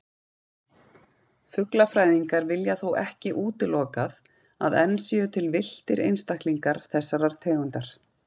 Fuglafræðingar vilja þó ekki útilokað að enn séu til villtir einstaklingar þessarar tegundar.